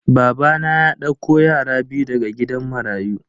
Babana ya dauko yara biyu daga gidan marayu.